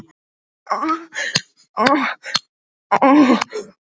Maður veit aldrei hvenær þeir dúkka upp.